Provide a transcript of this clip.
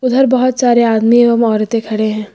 उधर बहोत सारे आदमी एवं औरतें खड़े हैं।